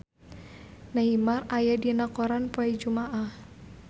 Neymar aya dina koran poe Jumaah